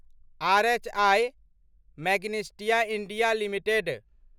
RHI Magnesita India limited